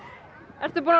ertu búin að